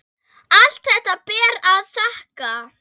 Allt þetta ber að þakka.